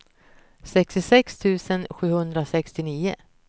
sextiosex tusen sjuhundrasextionio